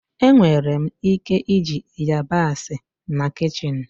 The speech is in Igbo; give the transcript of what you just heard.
Enwere m ike iji yabasị na kichin?